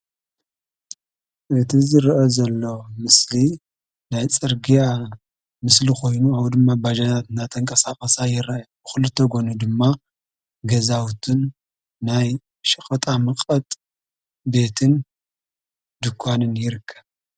እቲ ዝረአ ዘሎ ምስሊ ናይ ፅርግያ ምስሊ ኮይኑ ከምኡ ድማ ባጃጃት እናተቀሳቀሳ ይረእያ ብክልተ ጉኒ ድማ ገዛዉትን ናይ ሽቀጣመቐጥ ቤትን ድንኳንን ይርከብ፡፡